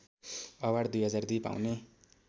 award २००२ पाउने